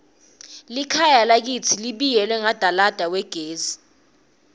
likhaya lakitsi libiyelwe ngadalada wagesi